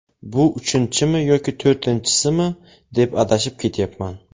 bu uchinchimi yoki to‘rtinchisimi deb adashib ketyapman.